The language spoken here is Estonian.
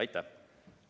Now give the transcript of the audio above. Aitäh!